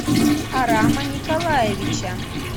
арама николаевича